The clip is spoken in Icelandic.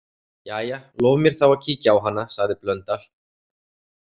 Jæja, lof mér þá að kíkja á hana, sagði Blöndal.